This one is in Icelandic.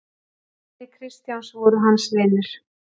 Vinir Kristjáns voru hans vinir.